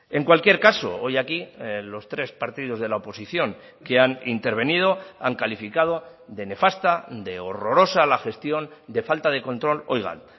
en cualquier caso hoy aquí los tres partidos de la oposición que han intervenido han calificado de nefasta de horrorosa la gestión de falta de control oigan